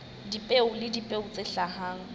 dipeo le dipeo tse hlahang